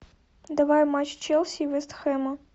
давай матч челси и вест хэма